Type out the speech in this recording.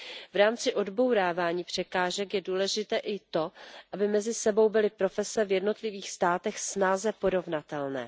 V rámci odbourávání překážek je důležité i to, aby mezi sebou byly profese v jednotlivých státech snáze porovnatelné.